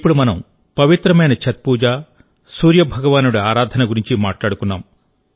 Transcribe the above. ఇప్పుడు మనం పవిత్రమైన ఛత్ పూజ సూర్య భగవానుడి ఆరాధన గురించి మాట్లాడుకున్నాం